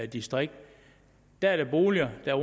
distrikt er er boliger der